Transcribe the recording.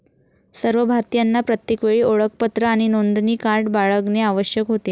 सर्व भारतीयांना प्रत्येकवेळी ओळखपत्र आणि नोंदणी कार्ड बाळगणे आवश्यक होते.